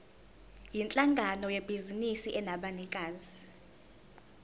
yinhlangano yebhizinisi enabanikazi